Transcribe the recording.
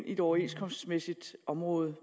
et overenskomstmæssigt område